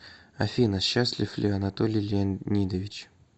афина счастлив ли анатолий леонидович